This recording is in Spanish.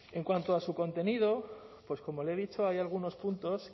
en cuanto a su contenido pues como le he dicho hay algunos puntos